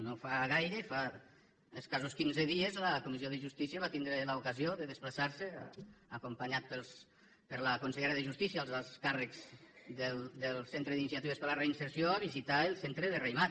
no fa gaire fa escassos quinze dies la comissió de justícia va tindre l’ocasió de desplaçarse acompanyats per la consellera de justícia i els alts càrrecs del centre d’iniciatives per a la reinserció a visitar el centre de raïmat